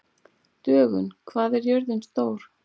Dögun, hvað er jörðin stór?